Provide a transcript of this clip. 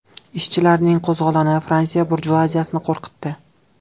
Ishchilarning qo‘zg‘oloni Fransiya burjuaziyasini qo‘rqitdi.